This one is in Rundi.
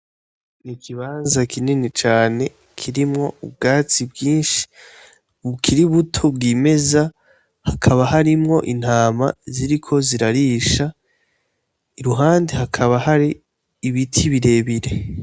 N'ikibanza kinini cane kirimwo ubwatsi bwinshi bukiri buto bwimeza, hakaba harimwo intama ziriko zirarisha, iruhande hakaba hari ibiti birebire.